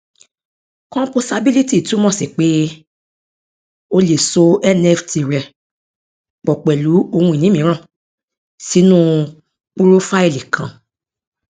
composability túmọ sí pé o lè so nft rẹ pọ pẹlú ohun ìní mìíràn sínú púrófáìlì kan